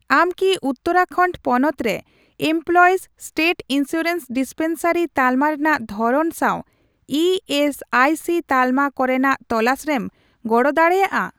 ᱟᱢ ᱠᱤ ᱩᱛᱛᱟᱹᱨᱟᱠᱷᱚᱱᱰ ᱯᱚᱱᱚᱛ ᱨᱮ ᱮᱢᱯᱞᱚᱭᱤᱥ ᱥᱴᱮᱴ ᱤᱱᱥᱩᱨᱮᱱᱥ ᱰᱤᱥᱯᱮᱱᱥᱟᱨᱤ ᱛᱟᱞᱢᱟ ᱨᱮᱱᱟᱜ ᱫᱷᱚᱨᱚᱱ ᱥᱟᱣ ᱤ ᱮᱥ ᱟᱭ ᱥᱤ ᱛᱟᱞᱢᱟ ᱠᱚᱨᱮᱱᱟᱜ ᱛᱚᱞᱟᱥᱨᱮᱢ ᱜᱚᱲᱚ ᱫᱟᱲᱮᱭᱟᱜᱼᱟ ?